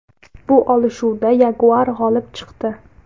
Bu olishuvda yaguar g‘olib chiqdi.